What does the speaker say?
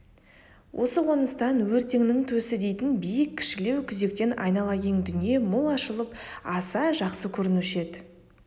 осы қоныстан өртеңнің төсі дейтін биік кішілеу күзектен айнала кең дүние мол ашылып аса жақсы көрінуші еді